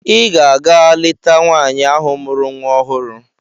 Ị ga-aga leta nwaanyị ahụ mụrụ nwa ọhụrụ!